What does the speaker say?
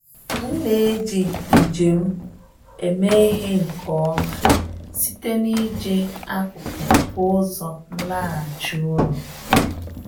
M na-eji njem m eme ihe nke ọma site n'ije akụkụ nke ụzọ nlaghachi ụlọ.